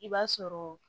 I b'a sɔrɔ